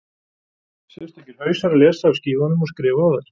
Sérstakir hausar lesa af skífunum og skrifa á þær.